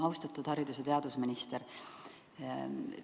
Austatud haridus- ja teadusminister!